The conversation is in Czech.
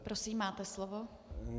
Prosím, máte slovo.